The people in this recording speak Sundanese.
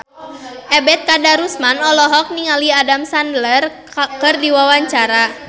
Ebet Kadarusman olohok ningali Adam Sandler keur diwawancara